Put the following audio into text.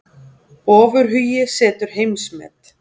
Ofurhugi setur heimsmet